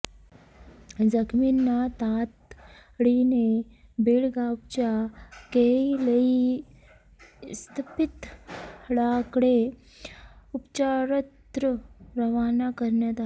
जखमींना तातडीने बेळगावच्या केएलई इस्पितळाकडे उपचारार्थ रवाना करण्यात आले